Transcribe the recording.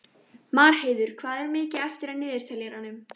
Marheiður, hvað er mikið eftir af niðurteljaranum?